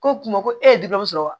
Ko tuma ko e ye sɔrɔ wa